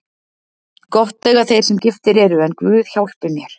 Gott eiga þeir sem giftir eru en guð hjálpi mér.